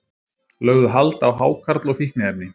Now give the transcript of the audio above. Lögðu hald á hákarl og fíkniefni